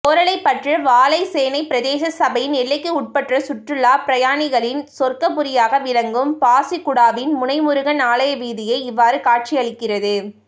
கோறளைப்பற்று வாழைச்சேனை பிரதேச சபையின் எல்லைக்குட்பட்ட சுற்றுலாப் பிரயானிகளின் சொர்க்கபுரியாக விளங்கும் பாசிக்குடாவின் முனைமுருகன் ஆலய வீதியே இவ்வாறு காட்சியளிக்கிறது